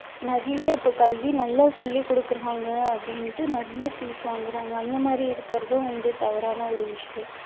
நிறைய இப்போ கல்வி நல்லா சொல்லி கொடுக்குறாங்க அப்படின்னுட்டு நிறைய fees வாங்குறாங்க அந்த மாதிரி இருக்கிறதும் வந்து தவறான ஒரு விஷயம்.